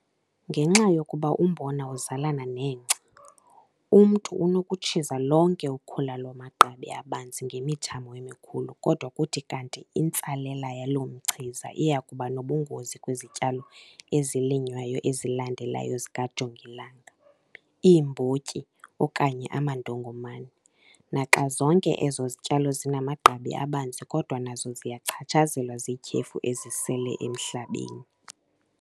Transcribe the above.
Ngenxa yokuba umbona uzalana nengca, umntu unokutshiza lonke ukhula lwamagqabi abanzi ngemithamo emikhulu kodwa kuthi kanti intsalela yaloo mchiza iya kuba nobungozi kwizityalo ezilinywayo ezilandelayo zikajongilanga, iimbotyi okanye amandongomane - naxa zonke ezo zityalo zinamagqabi abanzi kodwa nazo ziyachatshazelwa ziityhefu ezisele emhlabeni.